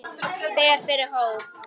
Fer fyrir hóp.